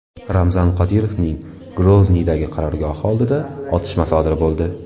Ramzan Qodirovning Grozniydagi qarorgohi oldida otishma sodir bo‘ldi.